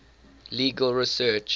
legal research